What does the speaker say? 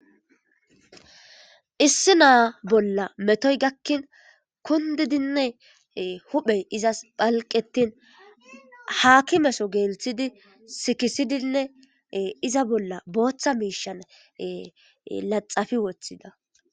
issi naa bolla metoy gakkin kundidinne huphey izas phalqetin haakimeso geelthidi sikisidinne iza bolla booththa miishan laxafi woththida